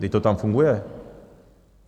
Vždyť to tam funguje.